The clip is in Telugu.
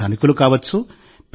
వారు ధనికులు కావచ్చు